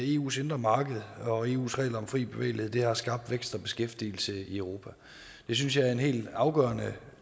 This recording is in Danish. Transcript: eus indre marked og eus regler om fri bevægelighed har skabt vækst og beskæftigelse i europa det synes jeg er en helt afgørende